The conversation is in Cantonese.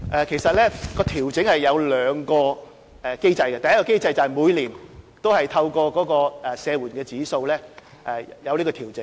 其實，調整涉及兩個機制，第一個機制是每年透過社援指數作出調整。